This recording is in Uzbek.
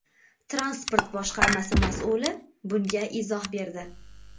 Transport boshqarmasi mas’uli bunga izoh berdi.